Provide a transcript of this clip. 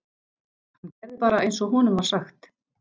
Hann gerði bara einsog honum var sagt.